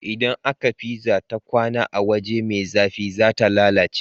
Idan aka pizza ta kwAna a waje me zafi zata lalace